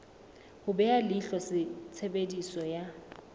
ho beha leihlo tshebediso ya